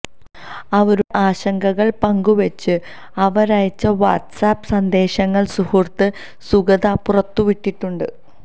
അവരുടെ ആശങ്കകള് പങ്കു വെച്ച് അവരയച്ച വാട്സ് ആപ് സന്ദേശങ്ങള് സുഹൃത്ത് സുഗത പുറത്തു വിട്ടിട്ടുണ്ട്